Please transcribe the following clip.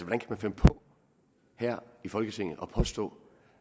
kan man finde på her i folketinget at påstå